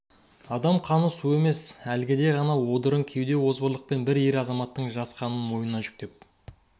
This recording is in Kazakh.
адам қаны су емес әлгіде ғана одыраң кеуде озбырлықпен бір ер азаматтың жас қанын мойнына жүктеп